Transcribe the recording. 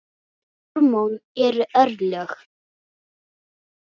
Hormón eru örlög!